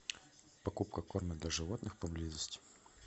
покупка корма для животных поблизости